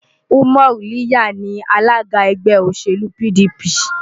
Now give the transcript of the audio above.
Umar lliya ni alága ẹgbẹ́ òṣèlú PDP.